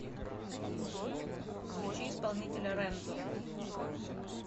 включи исполнителя рэнзо